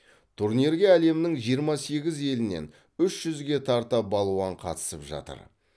турнирге әлемнің жиырма сегіз елінен үш жүзге тарта балуан қатысып жатыр